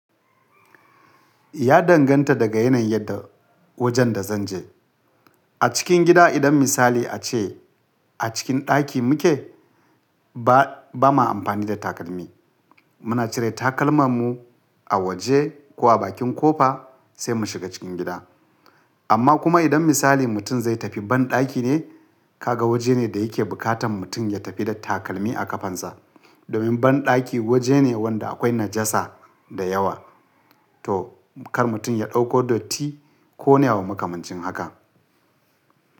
Ya danganta daga yanayin yadda wajen da zan je. A cikin gida idan misali ace a cikin ɗaki muke, ba mu amfani da takalmi. Muna cire takalman mu a waje ko a bakin ƙofa sai mu shiga cikin gida. Amma kuma idan misali mutum zai tafi banɗaki ne, ka ga waje ne da yake bukatan mutum ya tafi da takalmi a ƙafan sa. Domin banɗaki waje ne wanda akwai najasa da yawa, to kar mutum ya ɗauko datti ko me makamancin haka.